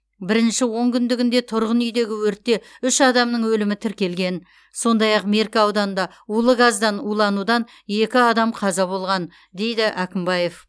бірінші он күндігінде тұрғын үйдегі өртте үш адамның өлімі тіркелген сондай ақ меркі ауданында улы газдан уланудан екі адам қаза болған дейді әкімбаев